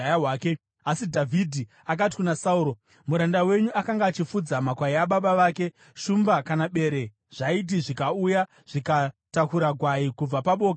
Asi Dhavhidhi akati kuna Sauro, “Muranda wenyu akanga achifudza makwai ababa vake. Shumba kana bere zvaiti zvikauya, zvikatakura gwai kubva paboka ramakwai,